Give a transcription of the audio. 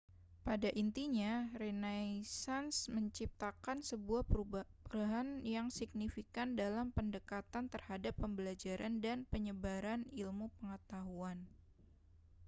pada intinya renaisans menciptakan sebuah perubahan yang signifikan dalam pendekatan terhadap pembelajaran dan penyebaran ilmu pengetahuan